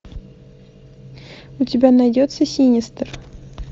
у тебя найдется синистер